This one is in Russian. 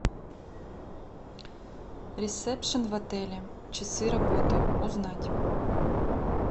ресепшн в отеле часы работы узнать